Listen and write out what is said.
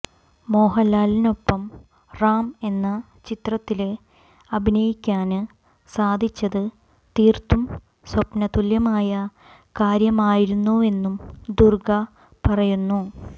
മോഹന്ലാലിനൊപ്പം റാം എന്ന ചിത്രത്തില് അഭിനയിക്കാന് സാധിച്ചത് തീര്ത്തും സ്വപ്നതുല്യമായ കാര്യമായിരുന്നുവെന്നും ദുര്ഗ പറയുന്നു